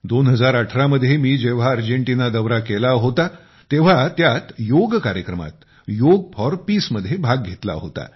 2018 मध्ये मी जेव्हा अर्जेंटिना दौरा केला होता तर तेव्हा त्यात योग कार्यक्रमात योग फॉर पीस मध्ये भाग घेतला होता